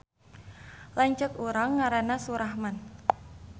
Lanceuk urang ngaranna Surahman